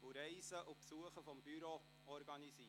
sowie Reisen und Besuche des Büros organisiert.